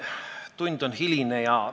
Tund on hiline.